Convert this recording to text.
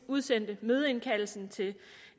udsendte mødeindkaldelsen til